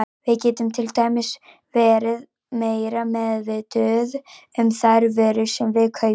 Við getum til dæmis verið meira meðvituð um þær vörur sem við kaupum.